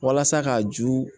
Walasa ka ju